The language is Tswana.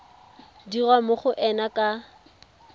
dirwa mo go ena ka